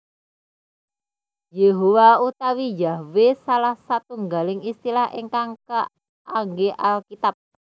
Yehowa utawi Yahwe salah setunggaling istilah ingkang kaanggé Alkitab